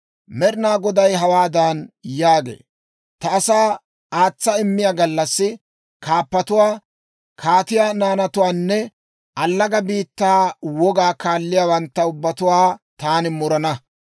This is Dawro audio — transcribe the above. Med'inaa Goday hawaadan yaagee; «Ta asaa aatsa immiyaa gallassi kaappatuwaa, kaatiyaa naanatuwaanne allaga biittaa wogaa kaaliyaawantta ubbatuwaa taani murana.